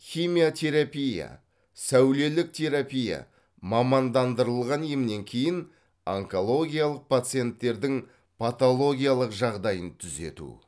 химиотерапия сәулелік терапия мамандандырылған емнен кейін онкологиялық пациенттердің патологиялық жағдайын түзету